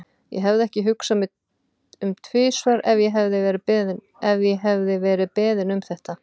Ég hefði ekki hugsað mig um tvisvar ef ég hefði verið beðin um þetta.